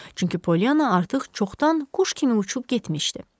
Çünki Polyanna artıq çoxdan quş kimi uçub getmişdi.